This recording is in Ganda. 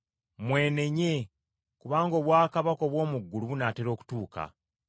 “Mwenenye, kubanga obwakabaka obw’omu ggulu bunaatera okutuuka.”